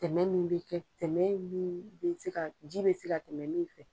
Tɛmɛ min bɛ kɛ tɛmɛ min bɛ se ka ji bɛ se ka tɛmɛ min fɛ.